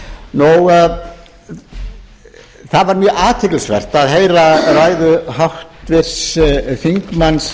spyr hæstvirtur ráðherra um þetta mál það var mjög athyglisvert að heyra ræðu háttvirts þingmanns